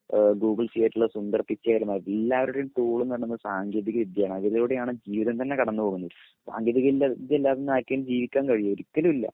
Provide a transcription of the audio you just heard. Google ഉള്ള സുന്ദർ പിച്ചൈ ആയിരുന്നാലും എല്ലാവരുടേം ടൂൾ എന്ന് പറയുന്നത് സാങ്കേതിക വിദ്യ ആണ് അതിലൂടെ ആണ് ജീവിതം തന്നെ കടന്നു പോകുന്നത് സാങ്കേതിക വിദ്യ ഇല്ലാതെ ഇന്ന് ആർക്കേലും ജീവിക്കാൻ കഴിയോ ഒരിക്കലും ഇല്ല